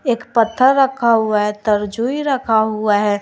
एक पत्थर रखा हुआ है तर्जुयी रखा हुआ है।